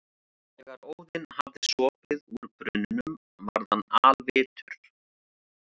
Þegar Óðinn hafði sopið úr brunninum varð hann alvitur.